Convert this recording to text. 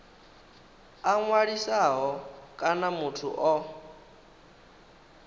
a ṅwalisaho kana muthu o